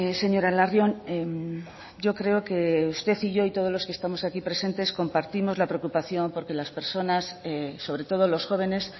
señora larrion yo creo que usted y yo y todos los que estamos aquí presentes compartimos la preocupación por que las personas sobre todo los jóvenes